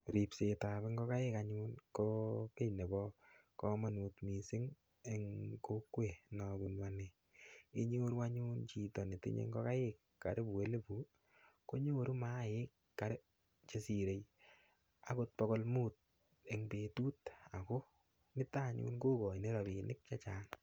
Ripsetab ngokaik anyun ko kiy nebo komanut mising eng kokwet nobunu ane inyoru anyun chito netinyei ngokaik karibu elibut konyoru maainik karibu chesirei akot pokol mut eng petut ako nito anyun ko koini rapinik chechang.